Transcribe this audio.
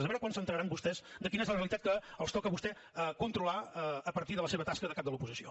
a veure quan s’assabentaran vostès de quina és la realitat que els toca a vostès controlar a partir de la seva tasca de caps de l’oposició